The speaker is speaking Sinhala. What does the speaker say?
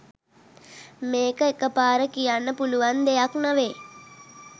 මේක එකපාර කියන්න පුළුවන් දෙයක් නෙවෙයි